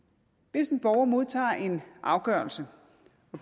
hvis en borger modtager en afgørelse